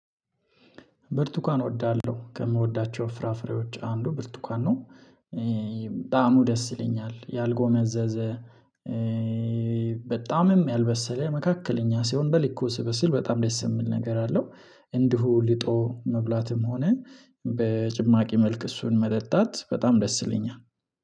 ብርቱካን እወዳለሁ ከምወዳቸው ፍራፍሬዎች አንዱ ብርቱካን ነው ጣህሙ ደስ ይለኛል ያልጎመዘዘ። በጣምም ያልበሰለ መካከለኛ ሲሆን በልኩ ሲበስል በጣም ደስ የሚል ነገር አለው። እንዲሁ ልጦ መብላትም ሆነ በጭማቂ መልክ እሱን መጠጣት በጣም ደስ ይለኛል።